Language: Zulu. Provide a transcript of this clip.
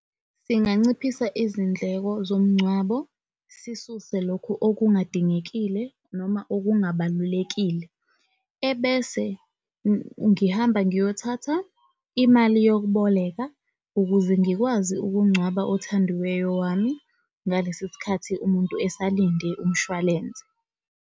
Singanciphisa izindleko zomngcwabo, sisuse lokhu okungadingekile noma okungabalulekile. Ebese ngihamba ngiyothatha imali yokuboleka ukuze ngikwazi ukungcwaba othandiweyo wami. Ngalesi sikhathi umuntu esalinde umshwalense.